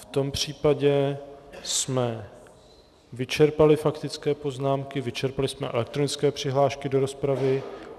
V tom případě jsme vyčerpali faktické poznámky, vyčerpali jsme elektronické přihlášky do rozpravy.